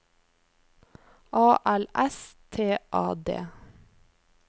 A L S T A D